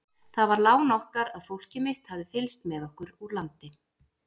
Það var lán okkar að fólkið mitt hafði fylgst með okkur úr landi.